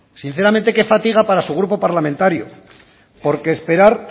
sinceramente qué fatiga para su grupo parlamentario porque esperar